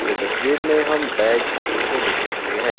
यह तस्वीर में हम बैग को देख सकते है।